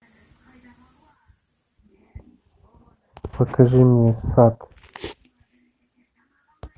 покажи мне сад